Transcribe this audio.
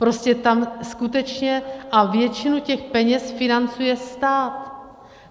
Prostě tam skutečně - a většinu těch peněz financuje stát.